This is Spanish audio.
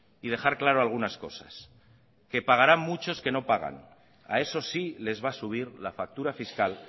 y dejar claro algunas cosas que pagarán muchos que no pagan a esos sí les va a subir la factura fiscal